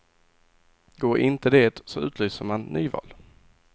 Går inte det så utlyser man nyval.